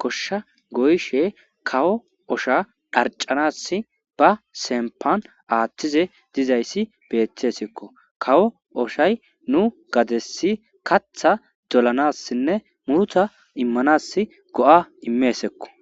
goshsha goyishe kawo osha dharcanassi ba sempan aaththize dizayssi beethtesikko kawo oshay nu gadessi katha dolanassinne muruta immanassi go7a imeesikko